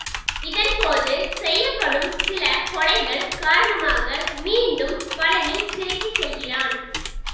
இதன் போது செய்யப்படும் சில கொலைகள் காரணமாக மீண்டும் பழனி சிறைக்கு செல்கிறான்